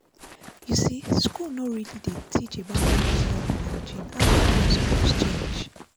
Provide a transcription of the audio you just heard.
you see school no really dey teach about menstrual health and hygiene and that one suppose change.